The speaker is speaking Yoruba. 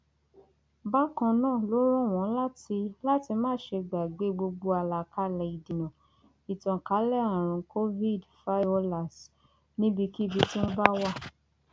bákan náà ló rọ wọn láti láti má ṣe gbàgbé gbogbo àlàkálẹ ìdènà ìtànkalẹ àrùn covidfaiolas níbikíbi tí wọn bá wà